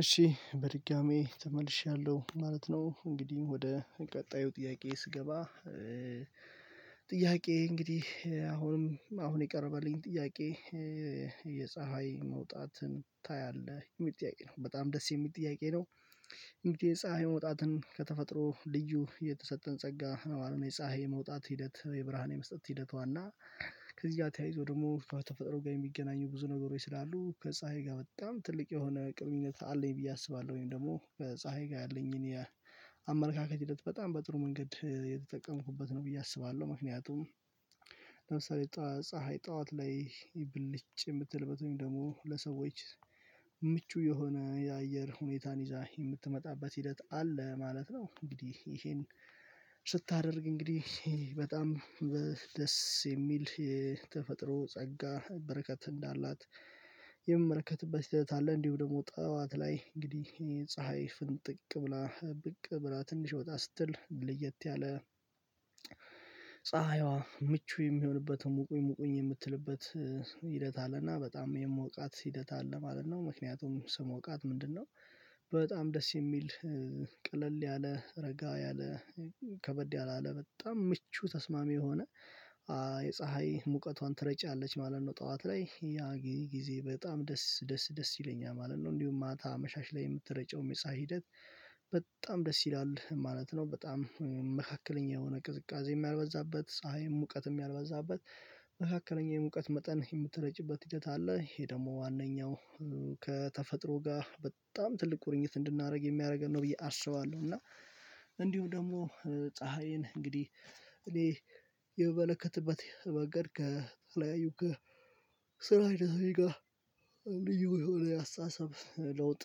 እሺ በድጋሚ ተመልሻለሁ ማለት ነው እንግዲህ ወደ ቀጣዩ ጥያቄ ስገባ። ጥያቄ እንግዲህ አሁንም አሁን የቀረበልኝ ጥያቄ? የፀሀይ መውጣትን ታያለህ የሚጥያቄ ነው በጣም ደስ የሚል ጥያቄ ነው። የሚጥያቄ የፀሀይ መውጣትን ከተፈጥሮ ልዩ የተሰጠን ጸጋ ነው አለው የፀሀይ መውጣት ሂደት የብርሃን የመስጠት ሂደቷና። ከዚያ ተያይዞ ደግሞ ከተፈጠረው ጋር የሚገናኙ ብዙ ነገሮች ስላሉ ከፀሀይ ጋር በጣም ትልቅ የሆነ ግንኙነት አለኝ ብዬ አስባለሁኝ ወይም ደግሞ በፀሀይ ጋር ያለኝን የአመለካከት ሂደት በጣም በጥሩ መንገድ የተጠቀምኩበት ነው ብዬ አስባለሁ ምክንያቱም። ለምሳሌ ፀሀይ ጠዋት ላይ ብልጭ የምትልበትኝ ወይም ደግሞ ለሰዎች ምቹ የሆነ የአየር ሁኔታን ይዛ የምትመጣበት ሂደት አለ ማለት ነው። እንግዲህ ይሄን ስታደርግ እንግዲህ በጣም ደስ የሚል ተፈጥሮ ጸጋ በረከት እንዳላት የሚመረከትበት ስህተት አለ። እንዲሁ ደግሞ ጠዋት ላይ እንግዲህ ፀሀይ ፍንጥቅ ብላ ብቅ ብላ ትንሽ ወጣ ስትል ልየት ያለ ፀሀይዋ ምቹ የሚሆንበትን ሙቁኝ ሙቁኝ የምትልበት ሂደት አለና በጣም የምወቃት ሂደት አለ ማለት ነው። ምክንያቱም ስሞቃት ምንድነው? በጣም ደስ የሚል ቅልል ያለ ረጋ ያለ ከበድ ያለ አለ በጣም ምቹ ተስማሚ የሆነ የፀሀይ ሙቀቷን ትረጫለች ማለት ነው። ጠዋት ላይ ያ ጊዜ በጣም ደስ ደስ ደስ ይለኛል ማለት ነው። እንዲሁም ማታ መሻሽ ላይ የምትረጨው የፀሀይ ሂደት በጣም ደስ ይላል ማለት ነው። በጣም መካከለኛ የሆነ ቅዝቃዜ ያልበዛበት ፀሀይ ሙቀትም ያልበዛበት መካከለኛው የሙቀት መጠን የምትረጭበት ሂደት አለ። ይሄ ደግሞ ዋናው ከተፈጥሮ ጋር በጣም ትልቅ ቁርኝት እንድናደርግ የሚያደርገን ነው ብዬ አስባለሁ እና። እንዲሁ ደግሞ ፀሀይን እንግዲህ እኔ የምመለከትበት መገደ ከተለያዩ ከ ስራ አይደለም ጋር ልዩ የሆነ አስተሳሰብ ለውጥ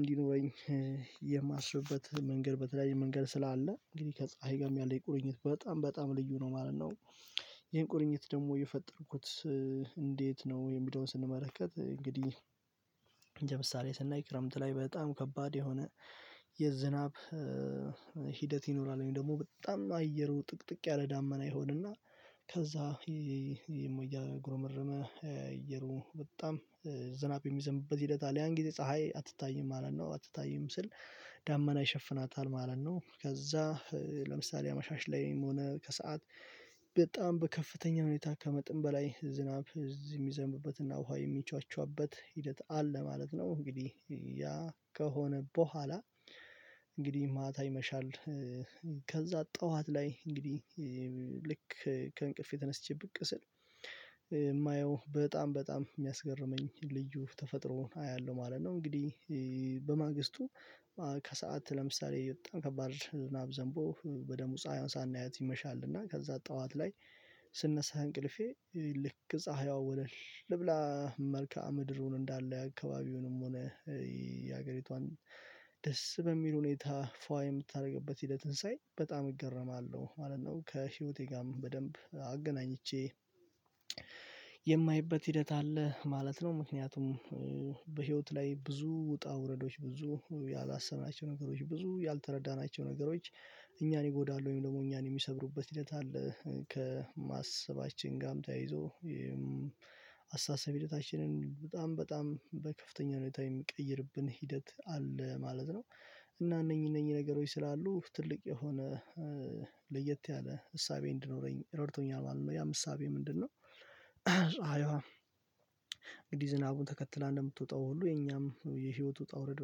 እንዲኖረኝ የማስብበት መንገድ በተለያየ መንገድ ስላለ እንግዲህ ከፀሀይ ጋርም ያለኝ ቁርኝት በጣም ልዩ ነው ማለት ነው። ይሄን ቁርኝት ደግሞ የፈጠርኩት እንዴት ነው የሚለውን ስንመለከት እንግዲህ ለምሳሌ ስናይ ክረምት ላይ በጣም ከባድ የሆነ የዝናብ ይኖራል ወይም ደግሞ በጣም አየሩ ጥቅጥቅ ያለ ዳመና ይሆንና ከዛ የሞያ እያጉሮመርመ እየሮሙ በጣም ዝናብ የሚዘምበት ሂደት አለያን ጊዜ ፀሀይ አትታይም አለን ነው። አትታይም ስል ዳመና ይሸፍናታል ማለት ነው። ከዛ ለምሳሌ መሻሽ ላይም ሆነ ከሰአት በጣም በከፍተኛ ሁኔታ ከመጥን በላይ ዝናብ እዚህ የሚዘምብበት እና ውሃ የሚቻቻበት ሂደት አለ ማለት ነው። እንግዲህ ያ ከሆነ በኋላ እንግዲህ ማታ ይመሻል። ከዛ ጠዋት ላይ እንግዲህ ልክ ከእንቅልፌ ተነስቼበት ብቅ ስል የማየው በጣም በጣም የሚያስገርመኝ ልዩ ተፈጥሮውን አያለሁ ማለት ነው። እንግዲህ ከሰአት ለምሳሌ በጣም ከባድ ናብ ዘንቦ ወደ ሙፀ ሳናየት ይመሻልና እና ከዛ ጠዋት ላይ ስነሳ እንቅልፌ ልክ ፀሀይዋ ወለል ልብላ መልከአ ምድሩን እንዳለ አካባቢውንም ሆነ የሀገሪቷን ደስ በሚል ሁኔታ ፏ የምታደርግበት ሂደትን ሳይ በጣም እገረማለሁ ማለት ነው። ከህይወቴ ጋርም በደንብ አገናኝቼ የማይበት ሂደት አለ ማለት ነው። ምክንያቱም በህይወት ላይ ብዙ ውጣ ውረዶች ብዙ ያላሰብናቸው ነገሮች ብዙ ያልተረዳናቸው ነገሮች እኛን ይጎዳሉ ወይም ደግሞ እኛን የሚሰብሩበት ሂደት አለ ከማሰባችን ጋርም ተያይዞ አሳሰቢ ሂደታችንን በጣም በከፍተኛ ሁኔታ የምቀይርብን ሂደት አለ ማለት ነው። እና እነኚህ እነኚህ ነገሮች ስላሉ ትልቅ የሆነ ለየት ያለ እሳቤ እንድኖረኝ ረድቶኛል ማለት ነው። ያም እሳቤ ምንድነው? ፀሀይዋ እንግዲህ ዝናቡን ተከትላ እንደምትወጣው ሁሉ የኛም የህይወት ውጣ ውረድ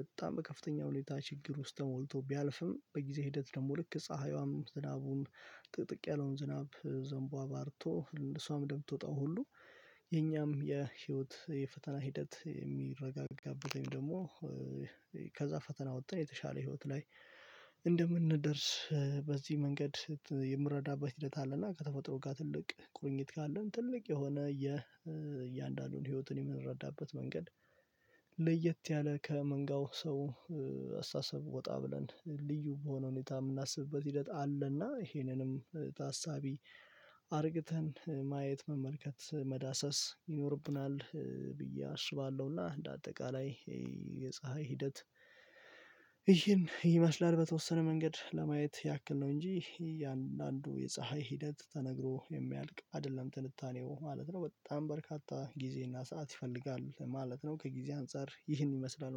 በጣም በከፍተኛው ሌሊታ ችግር ውስጥ ተሞልቶ ቢያልፍም በጊዜ ሂደት ደግሞ ልክ ፀሀይዋም ዝናቡም ጥቅጥቅ ያለውን ዝናብ ዘንቦ አባርቶ እሷም ደምቶጣው ሁሉ የኛም የህይወት የፈተና ሂደት የሚረጋጋበት ደግሞ ከዛ ፈተና ወጥተን የተሻለ ህይወት ላይ እንደምንደርስ በዚህ መንገድ የምረዳበት ሂደት አለና ከተፈጥሮ ጋር ትልቅ ቁርኝት ካለን ትልቅ የሆነ የእያንዳንዱን ህይወትን የምንረዳበት መንገድ። ለየት ያለ ከመንጋው አስታሰብ ወጣ ብለን ልዩ በሆነ ሁኔታ የምናስብበት ሂደት አለና ይሄንንም ታሳቢ አድርገን ማየት መመርከት መዳሰስ ይኖርብናል ብዬ አስባለሁና። እንደ አጠቃላይ ይሄ የፀሀይ ሂደት ይሄን ይመስላል በተወሰነ መንገድ ለማየት ያክል ነው እንጂ እያንዳንዱ የፀሀይ ሂደት ተነግሮ የሚያልቅ አይደለም ትንታኔው ማለት ነው በጣም በርካታ ጊዜ እና ሰዓት ይፈልጋል ማለት ነው። ከጊዜ አንፃር ይህን ይመስላል